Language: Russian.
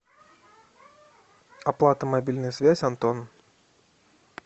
оплата мобильная связь антон